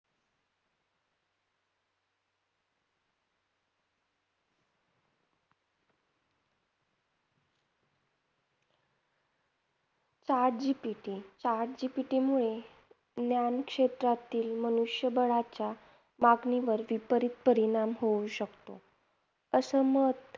Chat GPT chat GPT मुळे ज्ञान क्षेत्रातील मनुष्यबळाच्या मागणीवरती त्वरित परिणाम होऊ शकतो, असे मत